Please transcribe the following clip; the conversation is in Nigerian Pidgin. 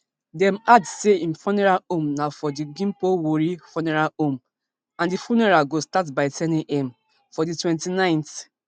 dem add say im funeral home na for di gimpo woori funeral home and di funeral go start by ten am for di twenty-nineth